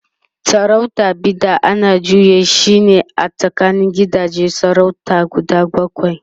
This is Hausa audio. sarautar Bida ana juya shine a tsakanin gidajen sarautar guda bakwai